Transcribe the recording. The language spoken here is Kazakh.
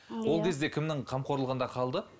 ол кезде кімнің қамқорлығында қалды